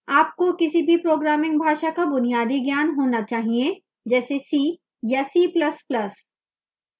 आपको किसी भी programming भाषा का बुनियादी ज्ञान होना चाहिए जैसे c या c ++